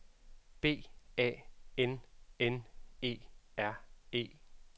B A N N E R E